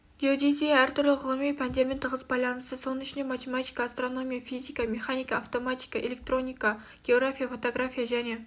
геодезия әртүрлі ғылыми пәндермен тығыз байланысты соның ішінде математика астраномия физика механика автоматика электроника география фотография және